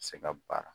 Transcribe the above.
Se ka baara